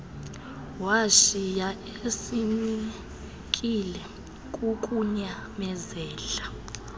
washiya esinekile kukunyamezela